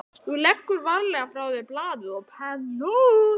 Þú leggur varlega frá þér blaðið og pennann.